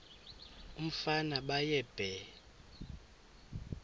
umfana baye bee